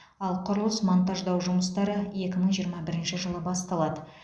ал құрылыс монтаждау жұмыстары екі мың жиырма бірінші жылы басталады